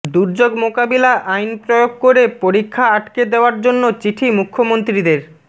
দুর্যোগ মোকাবিলা আইন প্রয়োগ করে পরীক্ষা আটকে দেওয়ার জন্য চিঠি মুখ্যমন্ত্রীদের